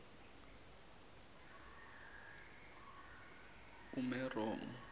umeromo